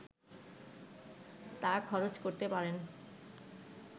তা খরচ করতে পারেন